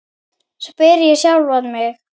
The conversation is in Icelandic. spyr ég sjálfan mig.